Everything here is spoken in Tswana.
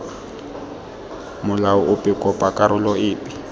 molao ope kopa karolo epe